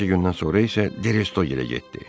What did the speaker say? Bir neçə gündən sonra isə Destoye getdi.